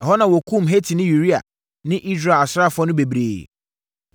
Ɛhɔ na wɔkumm Hetini Uria ne Israel asraafoɔ no bebree.